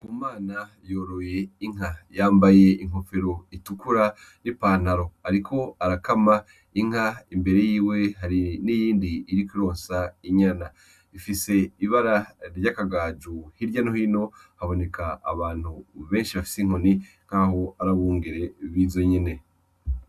Ndikumana yoroye inka yambaye inkofero itukura n' ipantalo . ariko arakama inka imbere yiwe hari n'iyindi iriko ironsa inyana ifise ibara ry'akagaju hirya no hino haboneka abantu benshi bafise inkoni nkaho ari abungere bizo nyene .